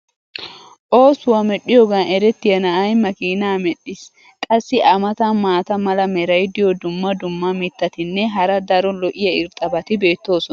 oosuwa medhiyoogan eretiya na"ay makkiinaa medhdhiis. qassi a matan maata mala meray diyo dumma dumma mitatinne hara daro lo'iya irxxabati beetoosona.